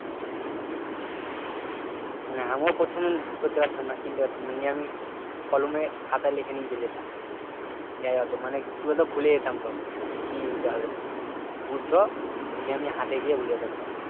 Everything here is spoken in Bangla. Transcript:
না আমরা প্রথমে ই করতে পারতাম না কিনতে পারতাম না নিয়ে আমি কলমে খাতায় লিখে নিয়ে চলে যেতাম মানে কি বল তো ভুলে যেতাম সব কি নিতে হবে বলত নিয়ে আমি হাঁটে গিয়ে ভুলে যেতাম সব